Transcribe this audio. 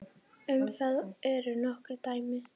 Um það eru nokkur dæmi.